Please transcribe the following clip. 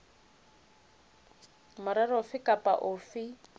le morero ofe goba ofe